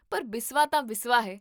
ਪਰ ਬਿਸਵਾ ਤਾਂ ਬਿਸਵਾ ਹੈ